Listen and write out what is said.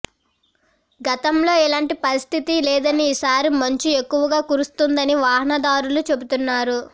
గతంలో ఇలాంటి పరిస్థితి లేదని ఈసారి మంచు ఎక్కువగా కురుస్తోందని వాహనాదారులు చెబుతున్నారు